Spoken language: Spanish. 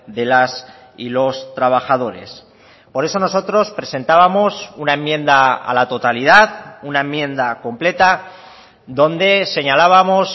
de las y los trabajadores por eso nosotros presentábamos una enmienda a la totalidad una enmienda completa donde señalábamos